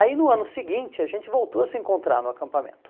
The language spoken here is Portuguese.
Aí no ano seguinte a gente voltou a se encontrar no acampamento.